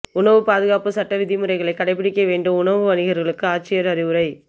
உணவுப் பாதுகாப்பு சட்ட விதிமுறைகளை கடைப்பிடிக்க வேண்டும்உணவு வணிகா்களுக்கு ஆட்சியா் அறிவுரை